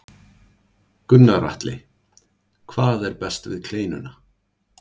Gunnar Atli: Hvað er best við kleinuna?